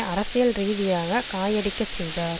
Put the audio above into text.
அரசியல் ரீதியாக காயடிக்கச் செய்தார்